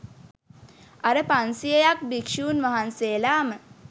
අර පන්සියයක් භික්ෂූන් වහන්සේලාම